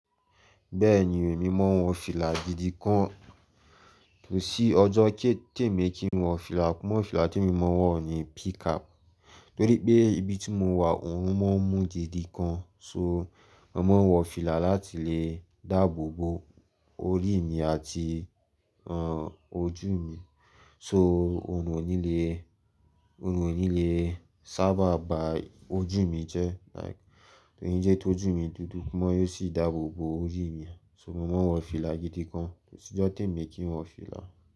Bẹ́ẹ̀ni, èmi mọ n wọ fìlà gìdí gan kó sì ọjọ́ kí èmi kí n wọ fìlà. Mọ́ fìlà tí èmi mọ̀ wọ̀ ni pcap, torí pé ibi tí mo wà òórùn máa ń mú gìdí gan. So, mo máa ń wọ fìlà láti lè dáàbò bo orí mi àti, àn, ojú mi. So, òórùn ò ní le, òórùn ò ní le sábà bà ojú mi jẹ́, like, koni jẹ́ ki ojú mi dúdú mó, yóò sì dáàbò bo orí mi. So, mo máa ń wọ fìlà gìdí kan kó sì ọjọ́ tèmi kí n wọ fìlà.